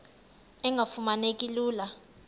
engafuma neki lula